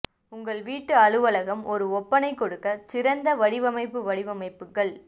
உங்கள் வீட்டு அலுவலகம் ஒரு ஒப்பனை கொடுக்க சிறந்த வடிவமைப்பு வடிவமைப்புகள்